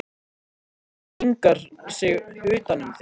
Rödd mín hringar sig utan um þig.